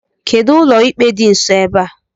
Kedụ ụlọikpe dị nsọ ebe a?